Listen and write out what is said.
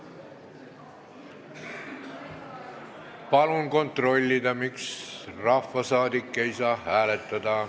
Palun kontrollida, miks rahvasaadik ei saa hääletada.